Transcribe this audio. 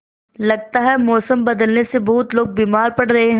लगता है मौसम बदलने से बहुत लोग बीमार पड़ रहे हैं